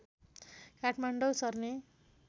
काठमाडौँ सर्ने